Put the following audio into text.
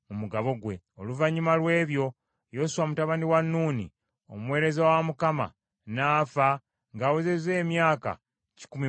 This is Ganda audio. Oluvannyuma lw’ebyo Yoswa mutabani wa Nuuni, omuweereza wa Mukama , n’afa ng’awezezza emyaka kikumi mu kkumi.